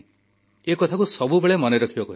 ଏକଥାକୁ ସବୁବେଳେ ମନେ ରଖିବାକୁ ହେବ